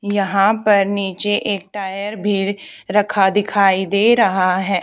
यहां पर नीचे एक टायर भी रखा दिखाई दे रहा है।